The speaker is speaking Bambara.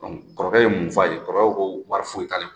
kɔrɔkɛ ye mun f'a ye? Kɔrɔkɛ ko ko wari foyi t'ale kun.